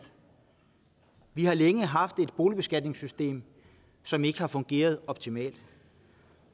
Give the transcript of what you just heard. vi har længe haft et boligbeskatningssystem som ikke har fungeret optimalt